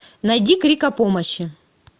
найди крик о помощи